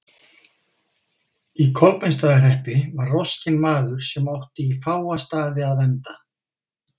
Í Kolbeinsstaðahreppi var roskinn maður sem átti í fáa staði að venda.